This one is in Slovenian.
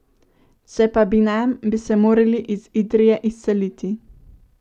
Če pa bi nam, bi se morali iz Idrije izseliti.